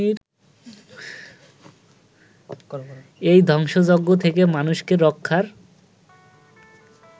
এই ধ্বংসযজ্ঞ থেকে মানুষকে রক্ষার